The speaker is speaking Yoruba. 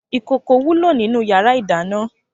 ikókó wúló ninú iyàrá idàná